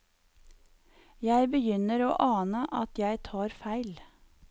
Jeg begynner å ane at jeg tar feil.